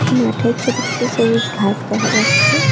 মাঠে ছোট ছোট সবুজ ঘাস দেখা যাচ্ছে।